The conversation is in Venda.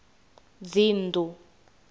dzinnḓu